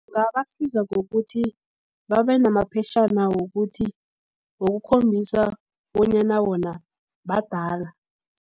Kungabasiza ngokuthi, babenamaphetjhana wokuthi, wokukhombisa bonyana wona badala.